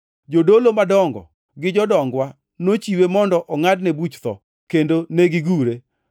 Jodolo madongo gi jodongwa nochiwe mondo ongʼadne buch tho, kendo negigure;